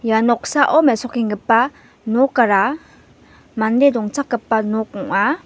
ia noksao mesokenggipa nokara mande dongchakgipa nok ong·a.